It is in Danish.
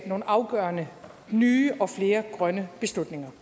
nogle afgørende nye og flere grønne beslutninger